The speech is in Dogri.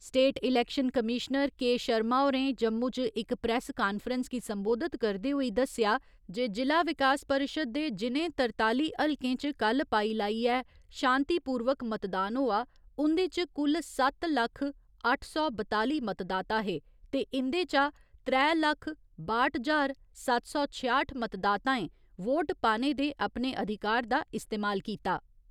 State election commissioner K .Sharma होरें जम्मू च इक प्रैस कांफ्रेंस गी सम्बोधित करदे होई दस्सेआ जे जि'ला विकास परिशद दे जि'नें तरताली हलकें च कल्ल पाई लाइयै शांतिपूर्वक मतदान होआ, उं'दे च कुल सत्त लक्ख अट्ठ सौ बताली मतदाता हे ते इं'दे चा त्रै लक्ख बाह्‌ट ज्हार सत्त सौ छेआठ मतदाताएं वोट पाने दे अपने अधिकार दा इस्तेमाल कीता।